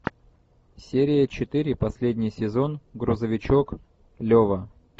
серия четыре последний сезон грузовичок лева